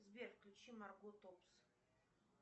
сбер включи марго топс